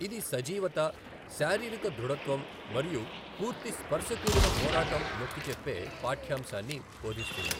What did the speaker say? ఇది సజీవత, శారీరక దృఢత్వం మరియు పూర్తి స్పర్శ కూడిన పోరాటం నొక్కిచెప్పే పాఠ్యాంశాన్ని బోధిస్తుంది.